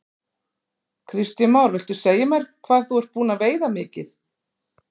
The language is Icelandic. Kristján Már: Viltu segja mér hvað þú ert búinn að veiða mikið?